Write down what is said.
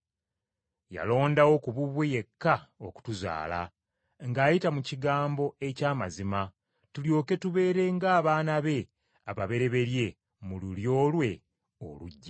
Yalondawo ku bubwe yekka okutuzaala, ng’ayita mu kigambo eky’amazima, tulyoke tubeere ng’abaana be ababereberye mu lulyo lwe oluggya.